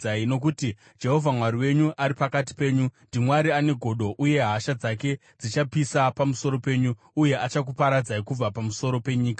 nokuti Jehovha Mwari wenyu ari pakati penyu ndiMwari ane godo uye hasha dzake dzichapisa pamusoro penyu, uye achakuparadzai kubva pamusoro penyika.